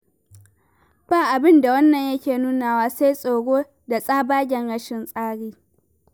Ba abin da wannan yake nunawa sai tsoro da tsabagen rashin tsari.